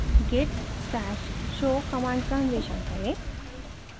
git stash show command का अन्वेषण करें